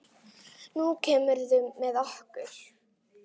Nú kemurðu með okkur